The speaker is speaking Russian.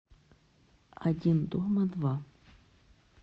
один дома два